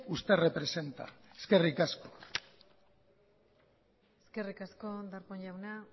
usted representa eskerrik asko eskerrik asko darpón jauna